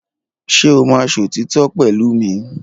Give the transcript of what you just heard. Ṣé o máa sòtítọ́ pẹ̀lú mi?